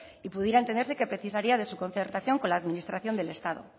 y pudiera entenderse que precisaría de su concertación con la administración del estado